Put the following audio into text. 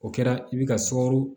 O kɛra i bɛ ka sukaro